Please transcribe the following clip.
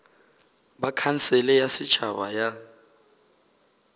ba khansele ya setšhaba ya